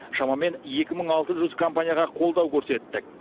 шамамен екі мың алты жүз компанияға қолдау көрсеттік